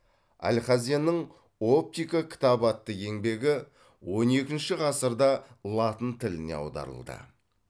алхазеннің оптика кітабы атты еңбегі он екінші ғасырда латын тіліне аударылды